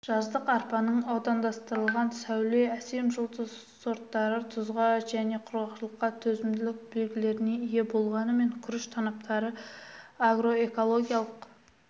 жаздық арпаның аудандастырылған сәуле әсем жұлдыз сорттары тұзға және құрғақшылыққа төзімділік белгілеріне ие болғанымен күріш танаптары агроэкологиялық